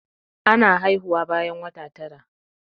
Ana haihuwa bayan wata tara.